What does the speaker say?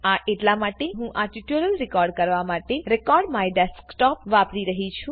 આ એટલા માટે કારણકે હું આ ટ્યુટોરીયલ રેકોર્ડ કરવા માટે recordMyDesktopવાપરી રહું છુ